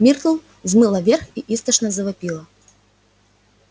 миртл взмыла вверх и истошно завопила